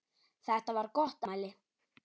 Þetta var gott afmæli.